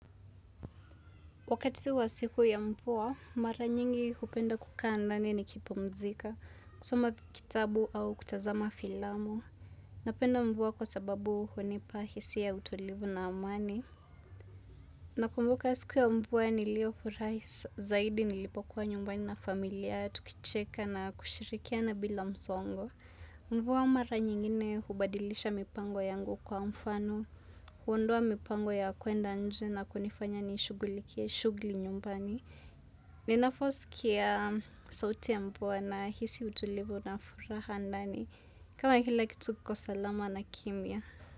Wakati wa siku ya mvua, mara nyingi hupenda kukaa ndani nikipumzika, kusoma kitabu au kutazama filamu. Napenda mvua kwa sababu hunipa hisia ya utolivu na amani. Nakumbuka siku ya mvua niliofurahi zaidi nilipokuwa nyumbani na familia, tukicheka na kushirikiana bila msongo. Mvua mara nyingine hubadilisha mipango yangu kwa mfano, huondoa mipango ya kwenda nje na kunifanya nishugulikie shughuli nyumbani. Ninavyosikia sauti mvua nahisi utulivu na furaha ndani. Kama kila kitu kiko salama na kimya.